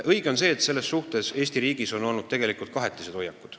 Õige on see, et Eesti riigis on sellesse suhtumisel olnud kahetised hoiakud.